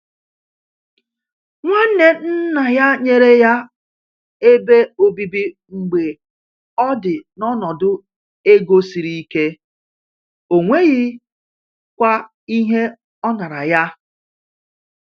Nwanne nna ya nyere ya ebe obibi mgbe ọ dị n’ọnọdụ ego siri ike, ọ nweghịkwa ihe ọ nara ya.